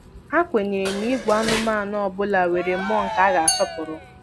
Ha kwenyere na ìgwè anụmanụ ọ bụla nwere mmụọ nke a ga-asọpụrụ.